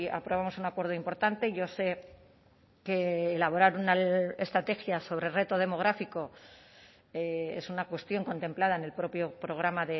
aprobamos un acuerdo importante yo sé que elaborar una estrategia sobre reto demográfico es una cuestión contemplada en el propio programa